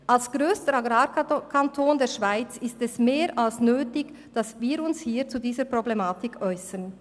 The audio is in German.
Als grösster Agrarkanton der Schweiz ist es mehr als nötig, dass wir uns hier zu dieser Problematik äussern.